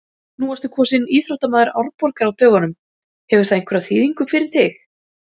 Nú varstu kosinn íþróttamaður Árborgar á dögunum, hefur það einhverja þýðingu fyrir þig?